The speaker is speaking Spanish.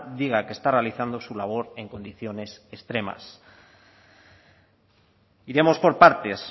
diga que está realizando su labor en condiciones extremas iremos por partes